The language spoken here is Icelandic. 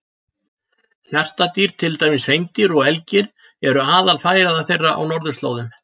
Hjartardýr, til dæmis hreindýr og elgir, eru aðalfæða þeirra á norðurslóðum.